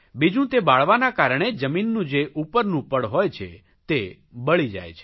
બીજું તે બાળવાના કારણે જમીનનું જે ઉપરનું પડ હોય છે તે બળી જાય છે